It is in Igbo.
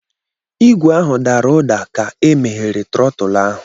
Igwe ahụ dara ụda ka e meghere trotul ahụ.